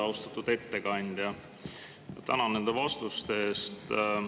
Austatud ettekandja, tänan nende vastuste eest.